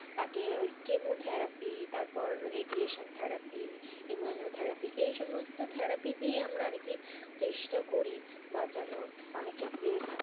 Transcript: তাকে ওই chemotherapy তারপর radiation therapy, immunotherapy এই সমস্ত therapy আমরা আর কি চেষ্টা করি বাঁচানোর অনেক ক্ষেত্রে,